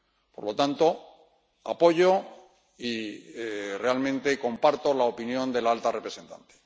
Por lo tanto, apoyo y realmente comparto la opinión de la alta representante.